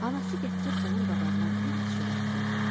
Anası gətirib onun qabağına biraz çörək qoydu.